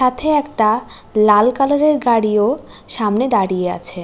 সাথে একটা লাল কালার -এর গাড়িও সামনে দাঁড়িয়ে আছে।